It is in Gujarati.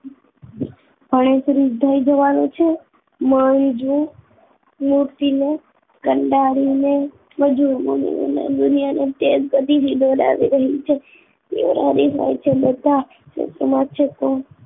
ભનેસરી થયી જવાનું છે મંજુ નું તિલક કનડાળી ને મજુર દુનિયા નો તેજ લીધો વહેમ છે બધા સમાજ શકો